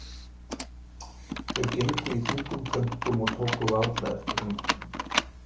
Þeir gegnu í þungum þönkum og tóku varla eftir umhverfinu.